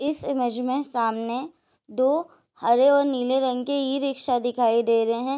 इस इमेज में सामने दो हरे और नीले रंग की ई-रिक्शा दिखाई दे रहे है।